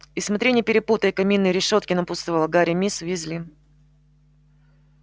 и смотри не перепутай каминные решётки напутствовала гарри миссис уизли